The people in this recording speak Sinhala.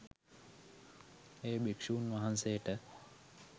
එය භික්ෂූන් වහන්සේට